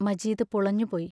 Majeed പുളഞ്ഞുപോയി.